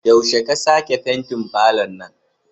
Yaushe ka sake fentin falon nan?